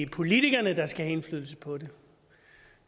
politikerne der skal have indflydelse på det